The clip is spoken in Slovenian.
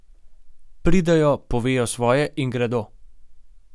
Pridejo, povejo svoje in gredo.